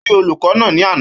Ó rí olùkọ́ náà ni àná